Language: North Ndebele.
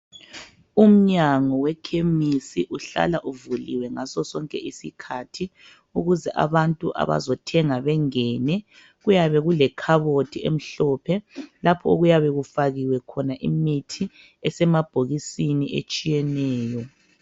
Umnyango wekhemisi uhlala uvuliwe ngaso sonke isikhathi .Ukuze abantu abazothenga bengene .Kuyabe kule khabothi emhlophe lapho okuyabe kufakiwe khona imithi esemabhokisini etshiyeneyo .